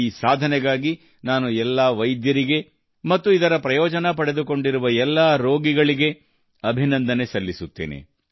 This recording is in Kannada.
ಈ ಸಾಧನೆಗಾಗಿ ನಾನು ಎಲ್ಲಾ ವೈದ್ಯರಿಗೆ ಮತ್ತು ಇದರ ಪ್ರಯೋಜನ ಪಡೆದುಕೊಂಡಿರುವ ಎಲ್ಲಾ ರೋಗಿಗಳಿಗೆ ಅಭಿನಂದನೆ ಸಲ್ಲಿಸುತ್ತೇನೆ